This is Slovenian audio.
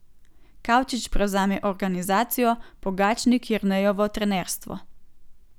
Kavčič prevzame organizacijo, Pogačnik Jernejevo trenerstvo.